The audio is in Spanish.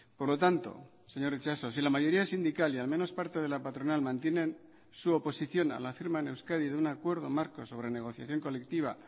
por lo tanto señor itxaso si la mayoría sindical y al menos parte de la patronal mantienen su oposición a la firma en euskadi de un acuerdo marco sobre negociación colectiva